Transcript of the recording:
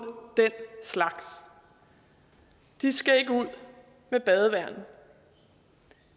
den slags og de skal ikke ud med badevandet